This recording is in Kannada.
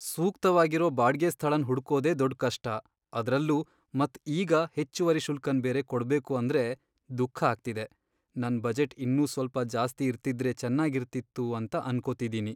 ಸೂಕ್ತವಾಗಿರೋ ಬಾಡ್ಗೆ ಸ್ಥಳನ್ ಹುಡ್ಕೋದೆ ದೊಡ್ ಕಷ್ಟ ಅದ್ರಲ್ಲೂ ಮತ್ ಈಗ ಹೆಚ್ಚುವರಿ ಶುಲ್ಕನ್ ಬೇರೆ ಕೊಡ್ಬೇಕು ಅಂದ್ರೆ ದುಃಖ ಆಗ್ತಿದೆ. ನನ್ ಬಜೆಟ್ ಇನ್ನೂ ಸ್ವಲ್ಪ ಜಾಸ್ತಿ ಇರ್ತಿದ್ರೆ ಚೆನ್ನಾಗಿರ್ತಿತ್ತು ಅಂತ ಅನ್ಕೋತಿದ್ದೀನಿ.